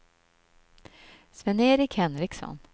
Sven-Erik Henriksson